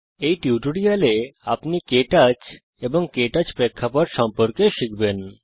এই টিউটোরিয়ালে আপনি কে টচ এবং কে টচ প্রেক্ষাপট সম্পর্কে শিখবেন